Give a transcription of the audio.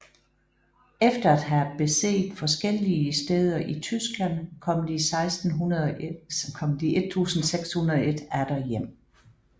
Efter at have beset forskellige steder i Tyskland kom de 1601 atter hjem